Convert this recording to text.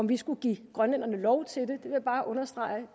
vi skulle give grønlænderne lov til det vil bare understrege